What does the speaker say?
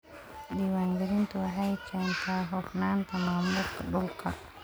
Diiwaangelintu waxay keentaa hufnaanta maamulka dhulka.